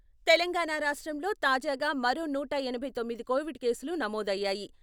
తెలంగాణ రాష్ట్రంలో తాజాగా మరో నూట ఎనభై తొమ్మిది కోవిడ్ కేసులు నమోదయ్యాయి..